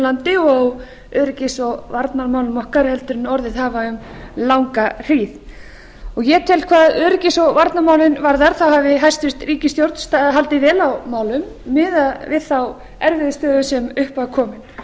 landi og öryggis og varnarmálum okkar en orðið hafa um langa hríð ég tel að hvað öryggis og varnarmálin varðar hafi hæstvirt ríkisstjórn haldið vel á málum miðað við þá erfiðu stöðu sem upp var komin